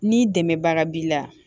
Ni dɛmɛbaga b'i la